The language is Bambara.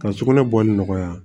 Ka sugunɛ bɔli nɔgɔya